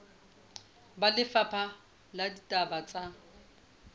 ba lefapha la ditaba tsa